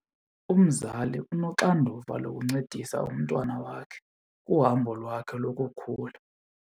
Umzali unoxanduva lokuncedisa umntwana wakhe kuhambo lwakhe lokukhula.